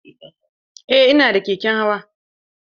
Eh ina da keken hawa.